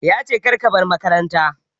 Ya ce "Kar ka bar makaranta"!